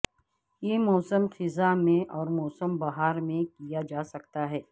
یہ موسم خزاں میں اور موسم بہار میں کیا جا سکتا ہے